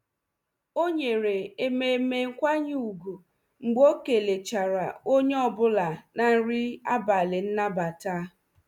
O nyere ememe nkwanye ugwu mgbe o kelechara onye ọ bụla na nri abalị nnabata.